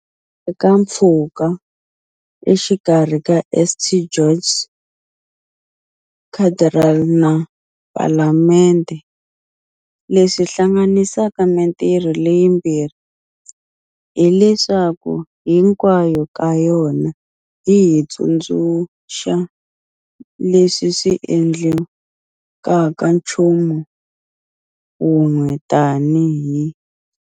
Handle ka mpfhuka exikarhi ka St George's Cathedral na Palamende, leswi hlanganisaka mitirho leyimbirhi hileswaku hinkwayo ka yona yi hi tsundzuxa leswi swi hi endlaka nchumu wun'we tanihi.